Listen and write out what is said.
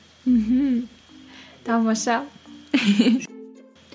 мхм тамаша